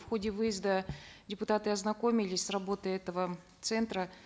в ходе выезда депутаты ознакомились с работой этого центра